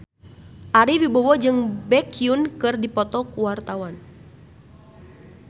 Ari Wibowo jeung Baekhyun keur dipoto ku wartawan